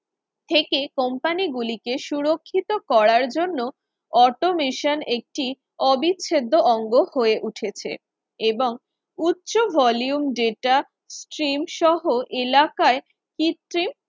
থেকে company গুলিকে সুরক্ষিত করার জন্য automation একটি অবিচ্ছেদ্য অঙ্গ হয়ে উঠেছে এবং উচ্চ volume data screen সহ এলাকায় কৃত্রিম